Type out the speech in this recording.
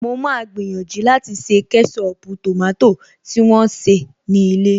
Mo máa gbìyànjú láti ṣe kẹ́ṣọpù tòmátò ti wón se ní ilé